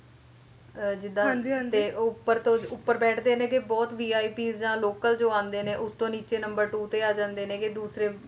ਉਹ ਉੱਪਰ ਤੋਂ ਉੱਪਰ ਬੈਠਦੇ ਨੇ ਗੇ ਬਹੁਤ VIP ਜਾਂ ਲੋਕਲ ਜੋ ਆਉਂਦੇ ਨੇ ਉਸਤੋਂ ਨੀਚੇ number two ਤੇ ਆ ਜਾਂਦੇ ਨੀ ਗੇ ਦੂਸਰੇ